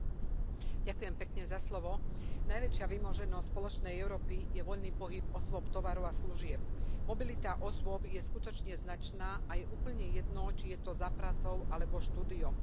Vážená pani predsedajúca, najväčšia vymoženosť spoločnej Európy je voľný pohyb osôb, tovaru a služieb. Mobilita osôb je skutočne značná a je úplne jedno, či je to za prácou alebo štúdiom.